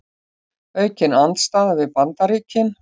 Aukin andstaða við Bandaríkin